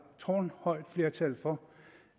tårnhøjt flertal for